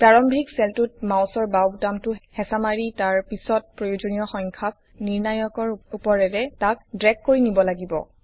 প্ৰাৰম্ভিক চেলটোত মাউচৰ বাওঁ বুতামটো হেচা মাৰি তাৰ পিছত প্ৰয়োজনীয় সংখ্যক নিৰ্ণায়কৰ উপৰেৰে তাক ড্ৰেগ কৰি নিব লাগিব